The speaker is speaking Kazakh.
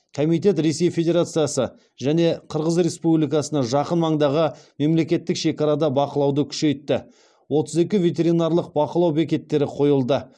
комитет ресей федерациясы және қырғыз республикасына жақын маңдағы мемлекеттік шекарада бақылауды күшейтті отыз екі ветеринарлық бақылау бекеттері қойылды